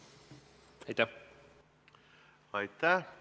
Aitäh!